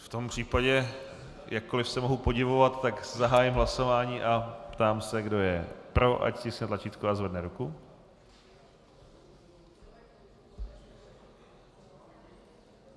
V tom případě, jakkoliv se mohu podivovat, tak zahájím hlasování a ptám se, kdo je pro, ať stiskne tlačítko a zvedne ruku.